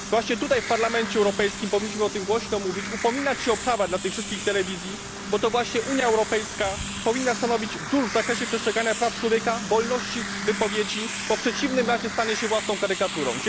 Właśnie tutaj, w Parlamencie Europejskim, powinniśmy o tym głośno mówić, upominać się o prawa dla tych wszystkich telewizji, bo to właśnie Unia Europejska powinna stanowić wzór w zakresie przestrzegania praw człowieka, wolności wypowiedzi, gdyż w przeciwnym razie stanie się własną karykaturą.